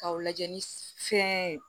K'aw lajɛ ni fɛn ye